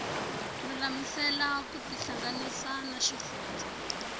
lulamisela ku tihlanganisa na xifundzha